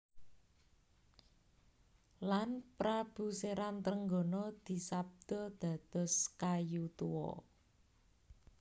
Lan Prabu Seran Trenggono disabda dados kayu tuwa